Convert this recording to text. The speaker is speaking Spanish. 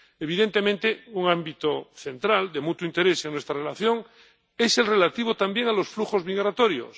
Evidentemente, un ámbito central, de mutuo interés en nuestra relación, es el relativo también a los flujos migratorios.